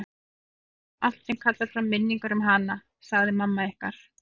Niður með allt sem kallar fram minningar um hana, sagði mamma ykkar.